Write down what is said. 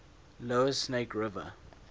lower snake river